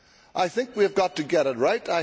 I think we have got to get it right.